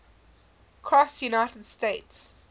cross united states